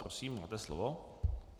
Prosím, máte slovo.